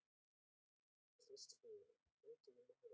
Kristfríður, hringdu í Malin.